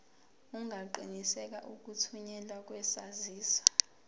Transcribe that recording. ungaqinisekisa ukuthunyelwa kwesaziso